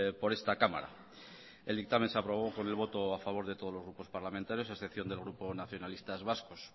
por esta cámara el dictamen se aprobó con el voto a favor de todos los grupos parlamentarios a excepción del grupo nacionalistas vascos